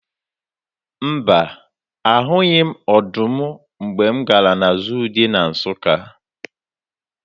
Mba, ahụghị m ọdụm mgbe m gara na zuu dị na Nsụka.